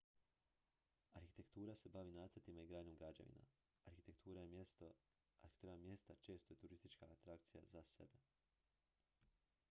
arhitektura se bavi nacrtima i gradnjom građevina arhitektura mjesta često je turistička atrakcija za sebe